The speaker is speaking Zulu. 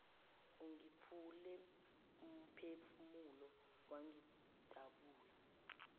ungiphule umphefumulo wangidabula